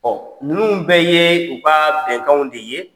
ninnu bɛ ye u ka bɛnkanw de ye.